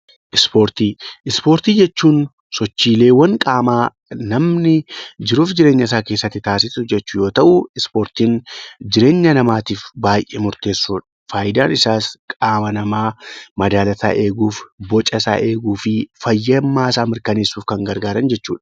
Ispoortii jechuun sochii qaamaa namni jiruu fi jireenya isaa keessatti taasisu jechuudha. Ispoortiin jireenya namaatiif baay'ee barbaachisoodha. Fayidaan isaas qaama namaa madaala isaa eeguu, bocasaa eeguu fi fayyummaa isaa mirkanneessuuf kan gargaaran jechuudha